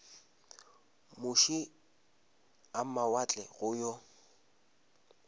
moše a mawatle go yo